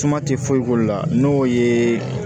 Suma tɛ foyi k'olu la n'o ye